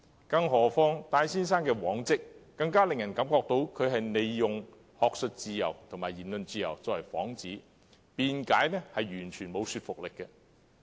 根據戴先生的往績，更令人相信他其實想以學術自由和言論自由作為幌子；他的辯解也完全缺乏說服力。